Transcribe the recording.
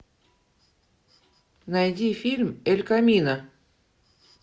найди фильм эль камино